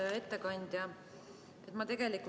Hea ettekandja!